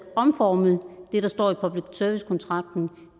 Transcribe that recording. omforme det der står i public service kontrakten